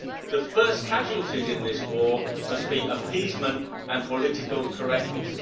The first casualties in this war must be appeasement and political correctness.